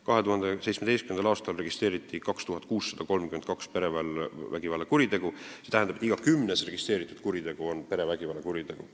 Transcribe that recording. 2017. aastal registreeriti 2632 perevägivallakuritegu, st iga kümnes registreeritud kuritegu oli perevägivallakuritegu.